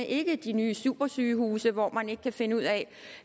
ikke de nye supersygehuse hvor man ikke kan finde ud af